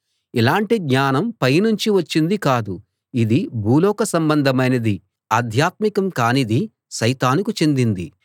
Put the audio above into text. ఇలాంటి జ్ఞానం పైనుంచి వచ్చింది కాదు ఇది భూలోక సంబంధమైనది ఆధ్యాత్మికం కానిది సైతానుకు చెందింది